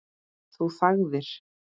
Þú þagðir.